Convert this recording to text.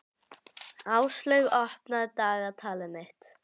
Áslaug, opnaðu dagatalið mitt.